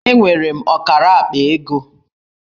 Enwere m ọkara akpa ego